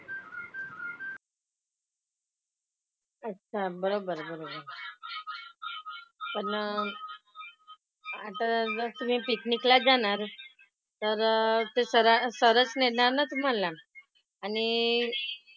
अच्छा. बरोबर आहे बरोबर आहे. पण आता उलट तुम्ही picnic लाच जाणार तर ते sir sir च नेणार ना तुम्हाला. आणि,